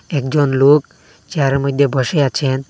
একজন লোক চেয়ারের মইধ্যে বসে আছেন।